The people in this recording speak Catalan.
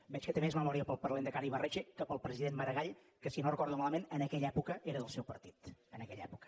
veig que té més memòria pel lehendakari ibarretxe que pel president maragall que si no ho recordo malament en aquella època era del seu partit en aquella època